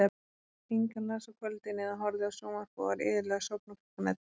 Inga las á kvöldin eða horfði á sjónvarp og var iðulega sofnuð klukkan ellefu.